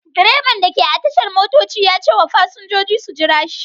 Direban da ke a tashar motoci ya ce wa fasinjoji su jira shi.